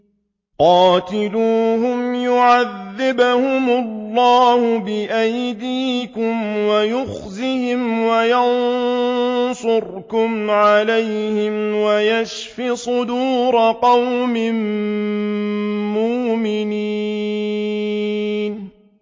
قَاتِلُوهُمْ يُعَذِّبْهُمُ اللَّهُ بِأَيْدِيكُمْ وَيُخْزِهِمْ وَيَنصُرْكُمْ عَلَيْهِمْ وَيَشْفِ صُدُورَ قَوْمٍ مُّؤْمِنِينَ